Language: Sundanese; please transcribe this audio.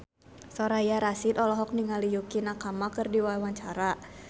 Soraya Rasyid olohok ningali Yukie Nakama keur diwawancara